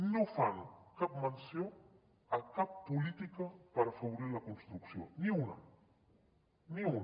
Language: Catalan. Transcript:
no fan cap menció de cap política per afavorir la construcció ni una ni una